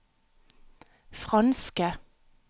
franske